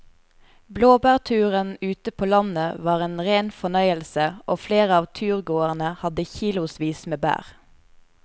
Blåbærturen ute på landet var en rein fornøyelse og flere av turgåerene hadde kilosvis med bær.